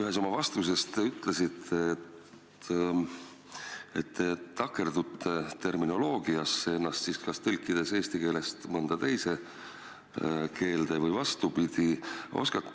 Ühes oma vastuses te ütlesite, et te takerdute terminoloogiasse, kui ennast eesti keelest mõnda teise keelde või vastupidi tõlgite.